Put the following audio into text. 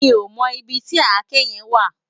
Mi ó mò ibi ti àké yèn wá